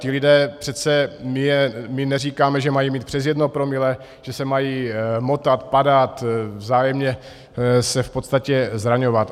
Ti lidé přece, my neříkáme, že mají mít přes jedno promile, že se mají motat, padat, vzájemně se v podstatě zraňovat.